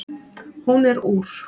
Hún er úr